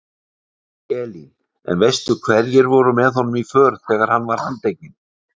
Elín: En veistu hverjir voru með honum í för þegar hann var handtekinn?